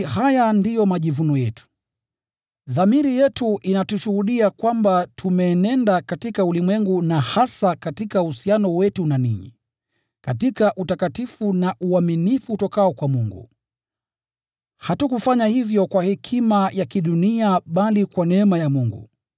Basi haya ndiyo majivuno yetu: Dhamiri yetu inatushuhudia kwamba tumeenenda katika ulimwengu na hasa katika uhusiano wetu na ninyi, katika utakatifu na uaminifu utokao kwa Mungu. Hatukufanya hivyo kwa hekima ya kidunia bali kwa neema ya Mungu.